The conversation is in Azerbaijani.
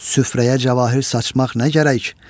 Süfrəyə cavahir saçmaq nə gərək?